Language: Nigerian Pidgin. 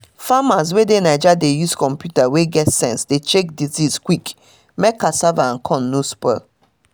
farmers wey dey naija dey use computer wey get sense dey check disease quick mek cassava and corn no spoil